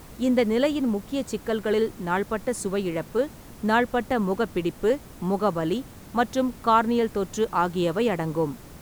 இந்த நிலையின் முக்கியச் சிக்கல்களில் நாள்பட்ட சுவை இழப்பு, நாள்பட்ட முக பிடிப்பு, முக வலி மற்றும் கார்னியல் தொற்று ஆகியவை அடங்கும்.